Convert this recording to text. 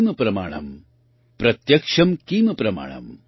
सत्यम् किम प्रमाणम् प्रत्यक्षम् किम प्रमाणम्